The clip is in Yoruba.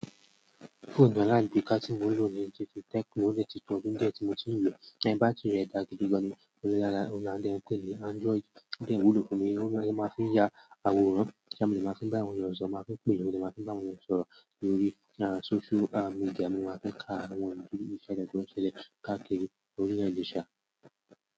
Fóònù alágbèéká tí mo n lo ni Tecno o dẹ ti to bíi ọdún díẹ̀ tí mo ti n lo bátiri rẹ̀ dára gidi gan ni, óun la dẹ ń pè ní Android. Ó dẹ́ ń wúlò fún mi, ó dẹ́ ni mo máa ń fi ya àwòrán, tí mo dẹ́ máa fi ń bá àwọn ènìyàn sọ̀rọ̀, máa ń pè é, ò jẹ́ máa sì ń bá àwọn ènìyàn sọ̀rọ̀ lórí socialmedia. Mò máa ń fi ka àwọn ènìyàn bí i Instagram ṣẹlẹ̀ káàkiri orílẹ̀ èdè ṣà.